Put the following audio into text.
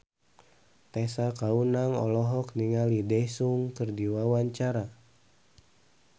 Tessa Kaunang olohok ningali Daesung keur diwawancara